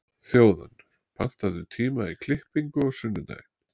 Þjóðann, pantaðu tíma í klippingu á sunnudaginn.